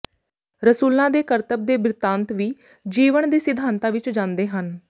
ਰਸੂਲਾਂ ਦੇ ਕਰਤੱਬ ਦੇ ਬਿਰਤਾਂਤ ਵੀ ਜੀਵਣ ਦੇ ਸਿਧਾਂਤਾਂ ਵਿੱਚ ਜਾਂਦੇ ਹਨ